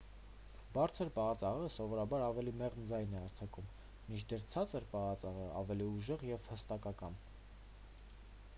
բարձր պահած աղեղը սովորաբար ավելի մեղմ ձայն է արձակում մինչդեռ ցածր պահած աղեղը ավելի ուժեղ և հաստատակամ